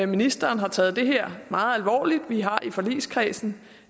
ministeren har taget det her meget alvorligt vi har i forligskredsen